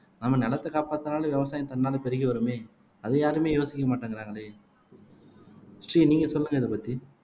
நம்ம நிலத்தை காப்பாத்தினாலும் விவசாயம் தன்னால பெருகி வருமே அதை யாருமே யோசிக்க மாட்டேங்கிறாங்களே ஸ்ரீ நீங்க சொல்லுங்க இதை பத்தி